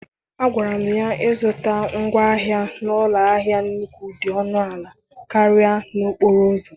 Agwara m ya na ịzụta ngwaahịa n'ụlọ ahịa nnùkwù dị ọnụ ala karịa n'okporo ụzọ.